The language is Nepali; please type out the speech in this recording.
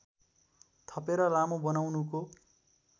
थपेर लामो बनाउनुको